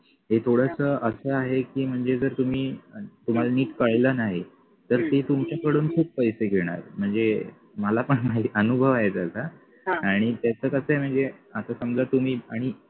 ते थोडस असं आहे की म्हणजे जर तुम्ही तुम्हाला नीट कळलं नाही तर ते तुमच्या कडून खूप पैसे घेणार म्हणजे मला पण अनुभव आहे त्याचा आणि त्याच कस आहे म्हणजे आता समजा तुम्ही आणि